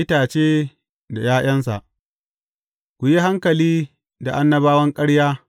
Itace da ’ya’yansa Ku yi hankali da annabawan ƙarya.